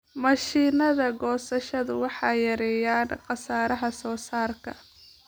Mashiinnada goosashada waxay yareeyaan khasaaraha soosaarka.